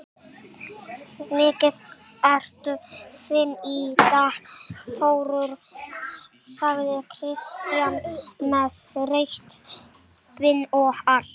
Mikið ertu fínn í dag Þórður, sagði Kristján, með rautt bindi og allt.